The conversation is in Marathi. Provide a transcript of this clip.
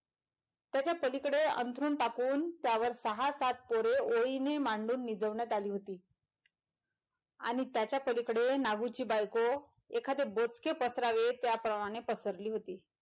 त्याच्या पलीकडे अंथरून टाकून त्यावर सहा सात पोरे ओळीने मांडून निजवण्यात आली होती आणि त्याच्या पलीकडे नागूची बायको एखाद्या बोचके पसरावे त्या प्रमाणे पसरली होती.